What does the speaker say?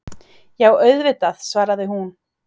Já, auðvitað, svaraði hún.